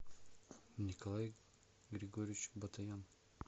николай григорьевич батаян